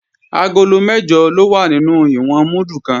Agolo mẹ́jọ ló wà nínú ìwọ̀n múdù kan